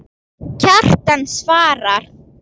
Kjartan svarar